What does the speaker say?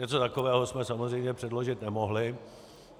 Něco takového jsme samozřejmě předložit nemohli.